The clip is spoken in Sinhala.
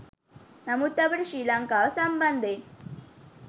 නමුත් අපට ශ්‍රී ලංකාව සම්බන්ධයෙන්